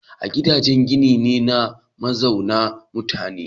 Gidaje gini ne na mazauna mutane.